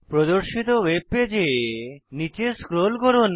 প্রদর্শিত ওয়েব পেজে নীচে স্ক্রোল করুন